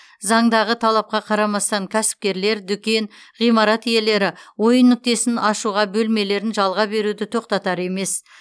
заңдағы талапқа қарамастан кәсіпкерлер дүкен ғимарат иелері ойын нүктесін ашуға бөлмелерін жалға беруді тоқтатар емес